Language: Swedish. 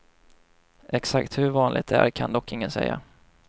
Exakt hur vanligt det är kan dock ingen säga.